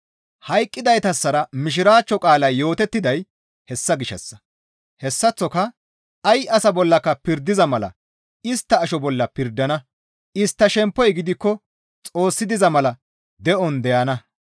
Hayqqidaytassara Mishiraachcho qaalay yootettiday hessa gishshassa; hessaththoka ay asa bollaka pirdiza mala istta asho bolla pirdana; istta shemppoy gidikko Xoossi diza mala de7on deyana.